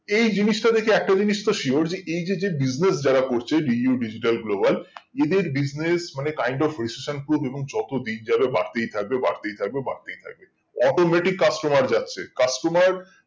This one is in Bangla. এই জিনিসটা দেখে একটা জিনিস তো sure এই যে যে business যারা করছে DU Digital Global এদের business মানে kind of registration proof এবং যত দিন যাবে বার্তেই থাকবে বর্তেই থাকবে বর্তেই থাকবে automatic customer যাচ্ছে customer